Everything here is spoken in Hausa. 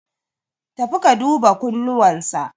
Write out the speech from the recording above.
Tafi ka duba kunnuwan sa.